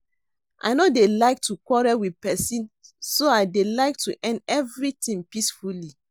I no dey like to quarrel with person so I dey like to end everything peacefully